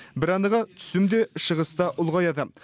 бір анығы түсім де шығыс та ұлғаяды